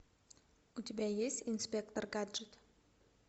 у тебя есть инспектор гаджет